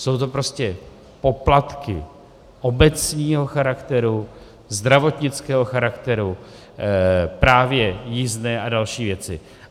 Jsou to prostě poplatky obecního charakteru, zdravotnického charakteru, právě jízdné a další věci.